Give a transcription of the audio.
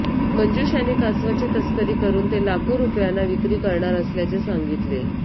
मंजुष याने कासवाची तस्करी करून ते लाखो रुपयांना विक्री करणार असल्याचे सांगितले